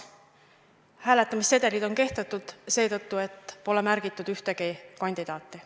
Hääletamissedelid on kehtetud seetõttu, et pole märgistatud ühtegi kandidaati.